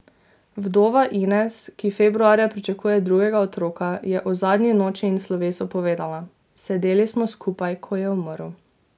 Vdova Ines, ki februarja pričakuje drugega otroka, je o zadnji noči in slovesu povedala: "Sedeli smo skupaj, ko je umrl.